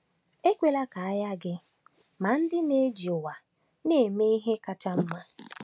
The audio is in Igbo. Ekwela ka anya gị maa ndị na-eji ụwa a eme ihe kacha mma.